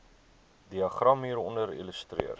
diagram hieronder illustreer